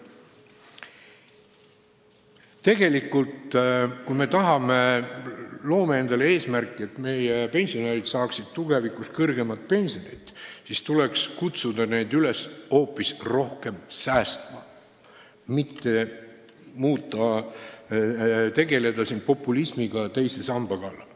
Tegelikult, kui meil on eesmärk, et meie pensionärid saaksid tulevikus kõrgemat pensioni, siis tuleks neid üles kutsuda rohkem säästma, mitte tegeleda populismiga teise samba teemal.